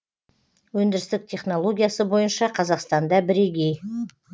өндірістік технологиясы бойынша қазақстанда бірегей